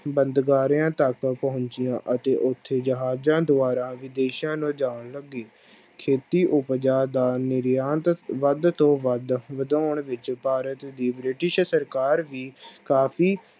ਬੰਦਗਾਰਿਆਂ ਤੱਕ ਪਹੁੰਚੀਆਂ ਅਤੇ ਉੱਥੇ ਜਹਾਜ਼ਾਂ ਦੁਆਰਾ ਵਿਦੇਸ਼ਾਂ ਲਿਜਾਉਣ ਲੱਗੇ, ਖੇਤੀ ਉਪਜ ਦਾ ਨਿਰਯਾਤ ਵੱਧ ਤੋਂ ਵੱਧ ਵਿਧਾਉਣ ਵਿੱਚ ਭਾਰਤ ਦੀ ਬ੍ਰਿਟਿਸ਼ ਸਰਕਾਰ ਵੀ ਕਾਫ਼ੀ